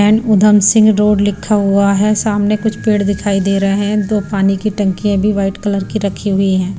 And Udham Singh road लिखा हुआ है सामने कुछ पेड़ दिखाई दे रहे हैं दो पानी की टंकियां भी वाइट कलर की रखी हुई है।